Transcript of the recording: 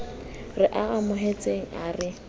re a amohetseng a re